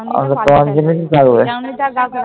ওই চাউনিটা আর কাউকে